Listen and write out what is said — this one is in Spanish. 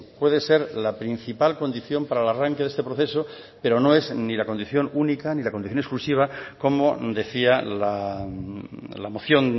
puede ser la principal condición para el arranque de este proceso pero no es ni la condición única ni la condición exclusiva como decía la moción